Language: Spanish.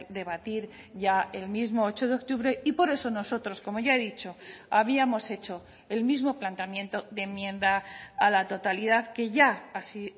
debatir ya el mismo ocho de octubre y por eso nosotros como ya he dicho habíamos hecho el mismo planteamiento de enmienda a la totalidad que ya así